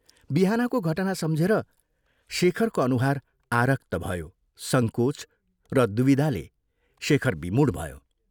बिहानको घटना सम्झेर शेखरको अनुहार आरक्त भयो संकोच र द्विविधाले शेखर विमूढ भयो।